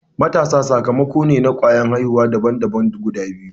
Matasan sakamako ne na kwayar aihuwa daban daban guda biyu.